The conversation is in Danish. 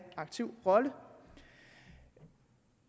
aktiv rolle